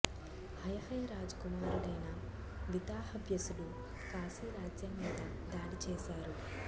హయహయ రాజు కుమారుడైన వితాహవ్యసుడు కాశీ రాజ్యం మీద దాడి చేశారు